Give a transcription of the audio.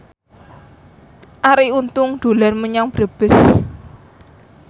Arie Untung dolan menyang Brebes